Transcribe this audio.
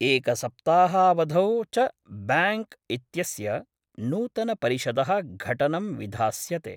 एकसप्ताहावधौ च ब्यांक् इत्यस्य नूतनपरिषदः घटनं विधास्यते।